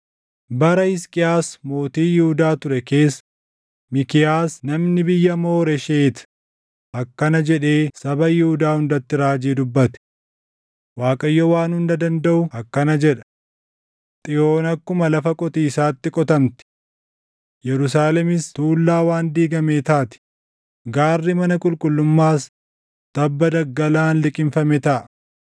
“Bara Hisqiyaas mootii Yihuudaa ture keessa Miikiyaas namni biyya Mooresheet akkana jedhee saba Yihuudaa hundatti raajii dubbate; ‘ Waaqayyo Waan Hunda Dandaʼu akkana jedha: “ ‘Xiyoon akkuma lafa qotiisaatti qotamti; Yerusaalemis tuullaa waan diigamee taati; gaarri mana qulqullummaas tabba daggalaan liqimfame taʼa.’